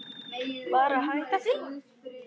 Bara hætta því.